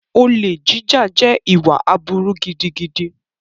Olè jíjà jẹ́ ìwà aburú gidigidi.